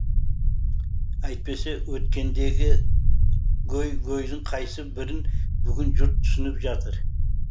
әйтпесе өткендегі гөй гөйдің қайсы бірін бүгін жұрт түсініп жатыр